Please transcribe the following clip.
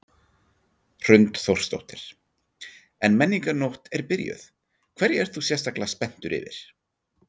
Hrund Þórsdóttir: En Menningarnótt er byrjuð, hverju ert þú sérstaklega spenntur yfir?